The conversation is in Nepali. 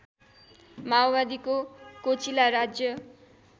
माओवादीको कोचिला राज्य